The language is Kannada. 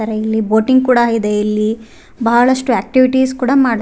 ತರ ಇಲ್ಲಿ ಬೋಟಿಂಗ್ ಕೂಡ ಇದೆ ಇಲ್ಲಿ ಬಹಳಷ್ಟು ಆಕ್ಟಿವಿಟೀಸ್ ಕೂಡ ಮಾಡ್ಸ್ --